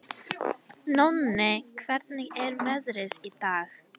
Nóni, hvernig er veðrið í dag?